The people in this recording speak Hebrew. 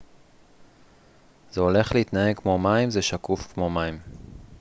זה הולך להתנהג כמו מים זה שקוף כמו מים